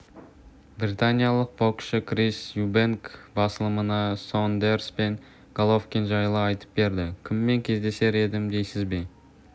британиялық боксшы крис юбэнк басылымына сондерс пен головкин жайлы айтып берді кіммен кездесер едім дейсіз бе